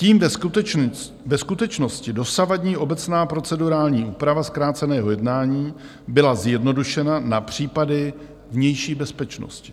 Tím ve skutečnosti dosavadní obecná procedurální úprava zkráceného jednání byla zjednodušena na případy vnější bezpečnosti.